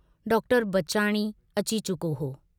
Doctor Bachani अची चुको हो।